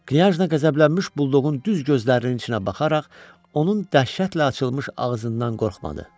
Knyajna qəzəblənmiş buldoğun düz gözlərinin içinə baxaraq, onun dəhşətlə açılmış ağzından qorxmadı.